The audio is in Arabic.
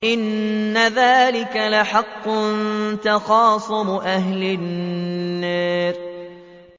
إِنَّ ذَٰلِكَ لَحَقٌّ تَخَاصُمُ أَهْلِ النَّارِ